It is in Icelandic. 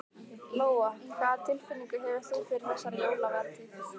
Lóa: Hvað tilfinningu hefur þú fyrir þessari jólavertíð?